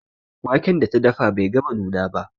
Waken da ta dafa bai gama nuna ba.